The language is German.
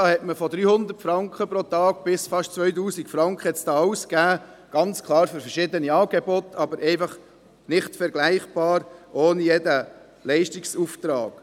Da hat man von 300 Franken bis fast 2000 Franken pro Tag alles – ganz klar für verschiedene Angebote, aber einfach nicht vergleichbar und ohne jeden Leistungsauftrag.